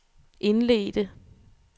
indledte